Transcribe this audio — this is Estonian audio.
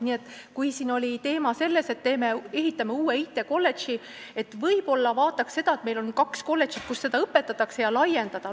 Nii et kui siin oli see teema, et ehitame uue IT-kolledži, siis võib-olla vaataks seda, et meil on kaks kolledžit, kus seda ainet õpetatakse, ja neid võiks laiendada.